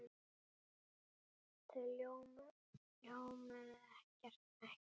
Þau ljómuðu ekki.